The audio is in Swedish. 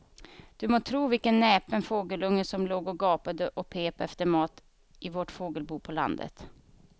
Du må tro vilken näpen fågelunge som låg och gapade och pep efter mat i vårt fågelbo på landet.